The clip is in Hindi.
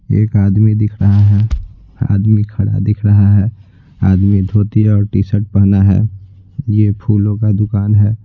एक आदमी दिख रहा है आदमी खड़ा दिख रहा है आदमी धोती और टी-शर्ट पहना है यह फूलों का दुकान है।